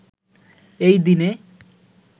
এই দিনে